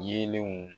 Yeelenw